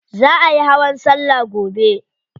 Za ayi hawan salla gobe.